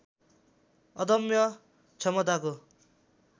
अदम्य क्षमताको